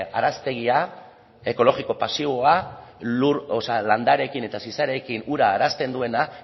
araztegia ekologiko pasiboa landareekin eta zizareekin ura arazten duena